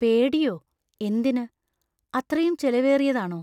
പേടിയോ? എന്തിന്? അത്രയും ചെലവേറിയതാണോ?